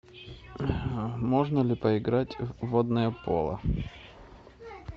можно ли поиграть в водное поло